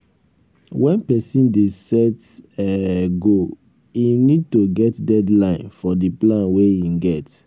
when person dey set um goal im need to get deadline for di plan wey im get